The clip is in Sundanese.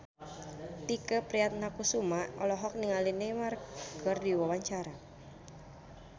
Tike Priatnakusuma olohok ningali Neymar keur diwawancara